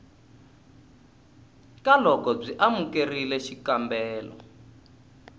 ka loko byi amukerile xikombelo